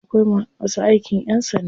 Akwai masu aikin ƴan sanda.